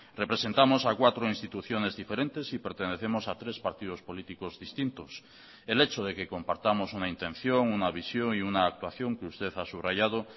representamos a cuatro instituciones diferentes y pertenecemos a tres partidos políticos distintos el hecho de que compartamos una intención una visión y una actuación que usted ha subrayado